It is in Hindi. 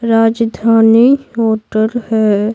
राजधानी होटल है।